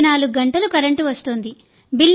24 గంటలు కరెంటు వస్తోంది